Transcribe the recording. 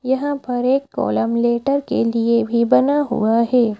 यहां पर एक कॉलम लेटर के लिए भी बना हुआ है।